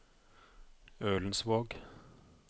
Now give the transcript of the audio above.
Ølensvåg